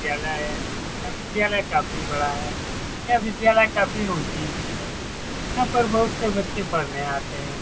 विद्यालय है यह विद्यालय काफी बड़ा है यह विद्यालय काफी ऊँची भी है यहाँ पर बहुत से बच्चे पढ़ने आते हैं।